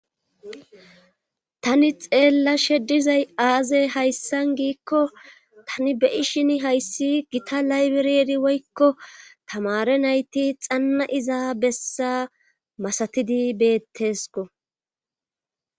Tani xeella she dizay aaze hayssan giikko tani beyi shin hayssi gita laybireeri woykko tamare nayti xanna iza bessa masatidi beettesko.